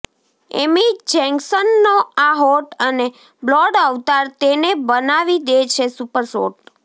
એમી જેક્શનનો આ હોટ અને બ્લોડ અવતાર તેને બનાવી દે છે સુપર હોટ